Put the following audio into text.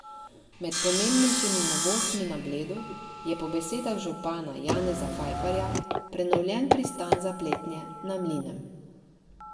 Med pomembnejšimi novostmi na Bledu je po besedah župana Janeza Fajfarja prenovljen pristan za pletnje na Mlinem.